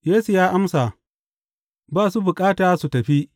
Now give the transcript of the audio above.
Yesu ya amsa, Ba su bukata su tafi.